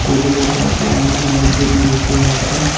Table -এর পাশে অনেক মানুষজন বসে আছে।